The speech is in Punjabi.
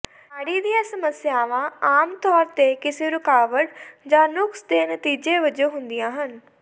ਨਾੜੀ ਦੀਆਂ ਸਮੱਸਿਆਵਾਂ ਆਮ ਤੌਰ ਤੇ ਕਿਸੇ ਰੁਕਾਵਟ ਜਾਂ ਨੁਕਸ ਦੇ ਨਤੀਜੇ ਵਜੋਂ ਹੁੰਦੀਆਂ ਹਨ